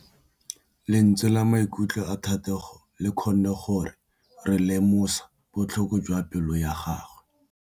Lentswe la maikutlo a Thategô le kgonne gore re lemosa botlhoko jwa pelô ya gagwe.